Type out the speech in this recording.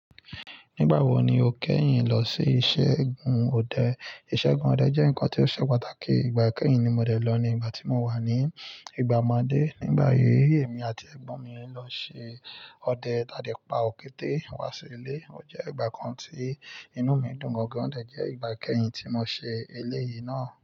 Nígbà wo ni o kẹ́yìn lọ sí iṣẹ́ gùn ọdẹ? Iṣẹ́ gùn ọdẹ jẹ́ ǹkan tó ṣe pàtàkì. Ìgbà kẹ́yìn tí mo dẹ̀ lọ ni ìgbà tí mo wà ní ìgbà ọmọdé. Nígbà yìí, èmi àti ẹ̀gbọ́n mi lọ ṣe ọdẹ, tádé pa òkété wá sí ilé. Ò jẹ́ ìgbà kan tí inú mi dùn gangan. Ò jẹ́ ìgbà kẹ́yìn tí mo ṣe eléyìí náà.